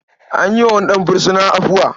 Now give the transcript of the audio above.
An yi wa wani ɗan fursuna afuwa.